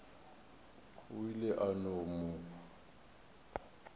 o ile a no mo